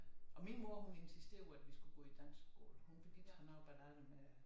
Og min mor hun insisterede jo at vi skulle gå i dansk skole. Hun fik ikke hun arbejdede aldrig med